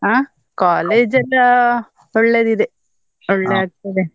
ಅಹ್ college ಎಲ್ಲಾ ಒಳ್ಳೆದಿದೆ, ಆಗ್ತದೆ.